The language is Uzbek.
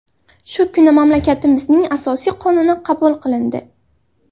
Shu kuni mamlakatimizning asosiy qonuni qabul qilindi.